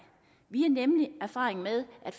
vi har nemlig erfaring med at